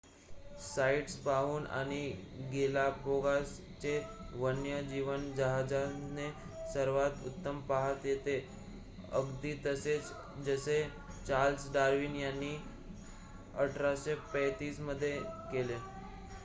sites पाहून आणि Galapagos चे वन्य जीवन जहाजाने सर्वात उत्तम पाहता येते अगदी तसेच जसे चार्ल्स डार्विन यांनी 1835 मध्ये केले